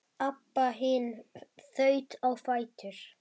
Abba hin þaut á fætur.